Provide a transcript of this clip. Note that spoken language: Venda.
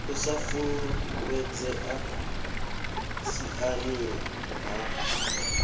u sa fulufhedzea siani ḽa